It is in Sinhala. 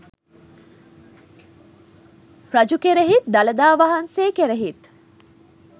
රජු කෙරෙහිත් දළදා වහන්සේ කෙරෙහිත්